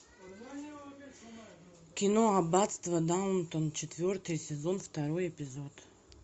кино аббатство даунтон четвертый сезон второй эпизод